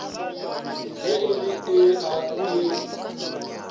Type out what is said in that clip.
ge e le ee e